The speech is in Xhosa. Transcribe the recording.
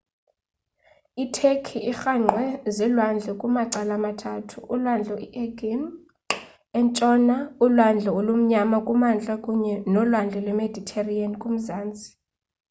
i turkey irhangqwe ziilwandle kumacala amathathu ulwandle i-aegean entshona ulwandle olumnyama kumantla kunye nolwandle lwemediterranean kumazantsi